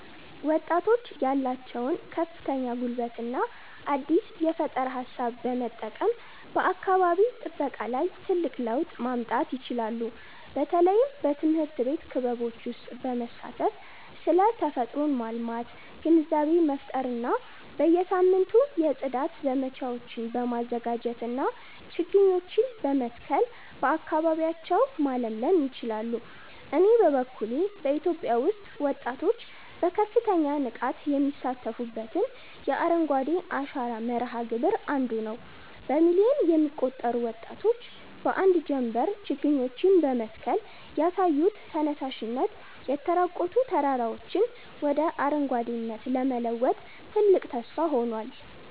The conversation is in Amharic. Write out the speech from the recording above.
ወጣቶች ያላቸውን ከፍተኛ ጉልበትና አዲስ የፈጠራ ሃሳብ በመጠቀም በአካባቢ ጥበቃ ላይ ትልቅ ለውጥ ማምጣት ይችላሉ። በተለይም በትምህርት ቤት ክበቦች ውስጥ በመሳተፍ ስለ ተፈጥሮን ማልማት ግንዛቤ መፍጠር እና በየሳምንቱ የጽዳት ዘመቻዎችን በማዘጋጀትና ችግኞችን በመትከል አካባቢያቸውን ማለምለል ይችላሉ። እኔ በበኩሌ በኢትዮጵያ ውስጥ ወጣቶች በከፍተኛ ንቃት የሚሳተፉበትን የአረንጓዴ አሻራ መርሃ ግብር 1ዱ ነዉ። በሚሊዮን የሚቆጠሩ ወጣቶች በአንድ ጀምበር ችግኞችን በመትከል ያሳዩት ተነሳሽነት፣ የተራቆቱ ተራራዎችን ወደ አረንጓዴነት ለመለወጥ ትልቅ ተስፋ ሆኗል።